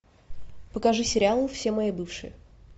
покажи сериал все мои бывшие